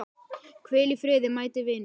Hvíl í friði mæti vinur.